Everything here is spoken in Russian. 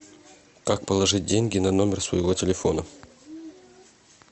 как положить деньги на номер своего телефона